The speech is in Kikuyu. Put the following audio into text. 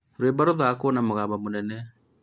rũimbo rũrathakwo na mũgabo mũnene